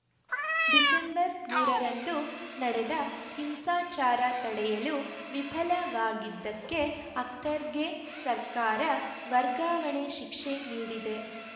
December ಮೂರ ರಂದು ನಡೆದ ಹಿಂಸಾಚಾರ ತಡೆಯಲು ವಿಫಲವಾಗಿದ್ದಕ್ಕೆ ಅಖ್ತರ್‌ಗೆ ಸರ್ಕಾರ ವರ್ಗಾವಣೆ ಶಿಕ್ಷೆ ನೀಡಿದೆ